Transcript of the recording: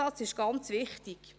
Dieser Zusatz ist ganz wichtig.